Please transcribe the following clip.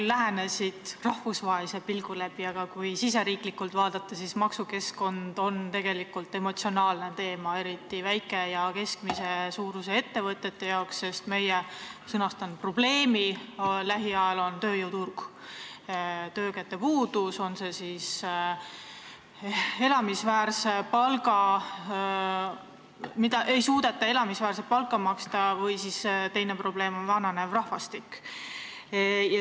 Sa lähenesid asjale rahvusvahelise pilgu läbi, aga kui riigisiseselt vaadata, siis maksukeskkond on tegelikult emotsionaalne teema, eriti väikese ja keskmise suurusega ettevõtete jaoks, sest meie probleemiks lähiajal on tööjõuturg, töökäte puudus, on see siis nii seetõttu, et ei suudeta elamisväärset palka maksta, või on probleemiks vananev rahvastik.